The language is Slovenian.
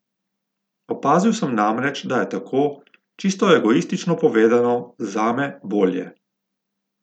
Opazil sem namreč, da je tako, čisto egoistično povedano, zame bolje.